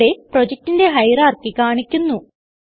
ഇവിടെ പ്രൊജക്റ്റിന്റെ ഹയറാർക്കി കാണിക്കുന്നു